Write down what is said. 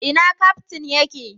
Ina Kaftin ya ke?